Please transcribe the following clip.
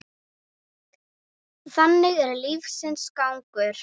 Þannig er lífsins gangur.